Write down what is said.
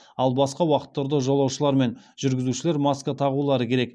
ал басқа уақыттарда жолаушылар мен жүргізушілер маска тағулары керек